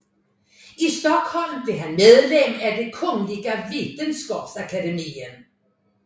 I Stockholm blev han medlem af det Kungliga Vetenskapsakademien